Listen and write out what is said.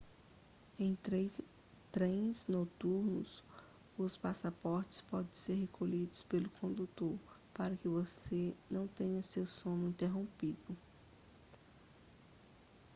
em trens noturnos os passaportes podem ser recolhidos pelo condutor para que você não tenha seu sono interrompido